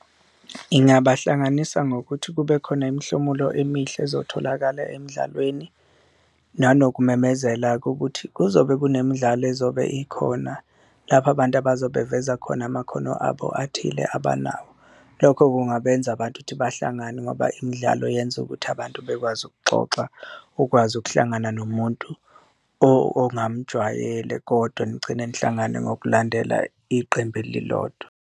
Ngingabahlanganisa ngokuthi kube khona imhlomulo emihle ezotholakala emdlalweni nanokumemezela-ke ukuthi kuzobe kunemidlalo ezobe ikhona, lapho abantu abazobeveza khona amakhono abo athile abanawo. Lokho kungabenza abantu ukuthi bahlangane ngoba imidlalo yenza ukuthi abantu bekwazi ukuxoxa, ukwazi ukuhlangana nomuntu ongamujwayele kodwa nigcine nihlangane ngokulandela iqembu elilodwa.